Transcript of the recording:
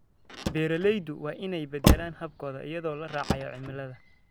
Beeraleydu waa inay beddelaan hababkooda iyadoo la raacayo cimilada.